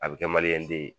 A bɛ kɛ den ye